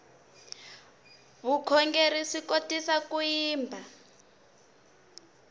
vukhongerhi swi kotisa ku yimba